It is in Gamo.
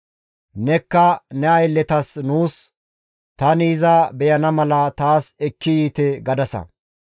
«Nekka ne aylletas nuus, ‹Tani iza beyana mala taas ekki yiite› gadasa.